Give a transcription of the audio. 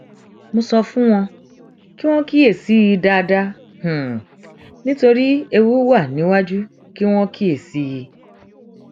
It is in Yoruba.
mo sọ fún wo kí wọn kíyèsí i dáadáa nítorí ewu wà níwájú kí wọn kíyèsí i